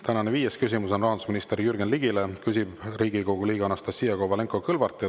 Tänane viies küsimus on rahandusminister Jürgen Ligile, küsib Riigikogu liige Anastassia Kovalenko-Kõlvart.